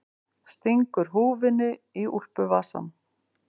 Stingur húfunni í úlpuvasann.